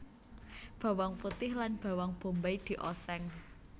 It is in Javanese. Bawang putih lan bawang bombay dioseng